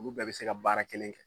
Olu bɛɛ bɛ se ka baara kelen kɛ